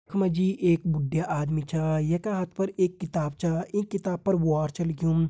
यख मा जी एक बुडया आदमी छा यैका हाथ पर एक किताब छा ईं किताब पर वॉर छ लिख्युं।